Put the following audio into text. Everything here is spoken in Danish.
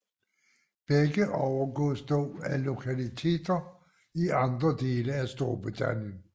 Begge overgås dog af lokaliteter i andre dele af Storbritannien